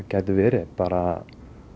geti verið bara